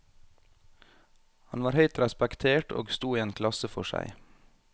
Han var høyt respektert og sto i en klasse for seg.